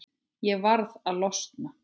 Ég varð að losna.